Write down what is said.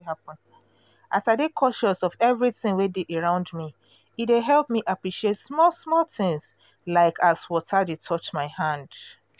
as i dey conscious of everything wey dey around me e dey help me appreciate small small things like as water dey touch my hand